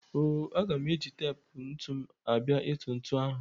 O-o, aga m eji tep ntụ m abịa ịtụ ntụ ahụ.